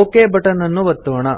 okay button ನ್ನು ಒತ್ತೋಣ